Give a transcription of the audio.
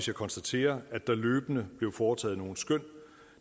jeg konstaterer at der løbende blev foretaget nogle skøn